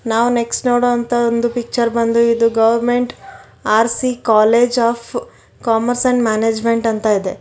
ನಾವು ನೆಕ್ಸ್ಟ್ ನೋಡೊ ಅಂತ ಒಂದು ಪಿಚ್ಚರ್ ಬಂದು ಇದು government R C college of commerce and management ಅಂತ ಇದೆ.